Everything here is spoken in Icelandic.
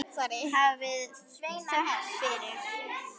Hafið þökk fyrir.